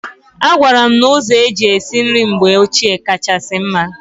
Agwara m na ụzọ eji esi nri mgbe ochie kachasị mma.